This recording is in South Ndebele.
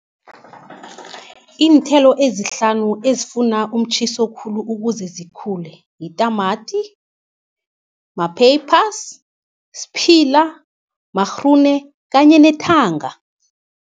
Iinthelo ezihlanu ezifuna umtjhiso khulu ukuze zikhule, yitamati, ma-peppers, siphila, magrune kanye nethanga.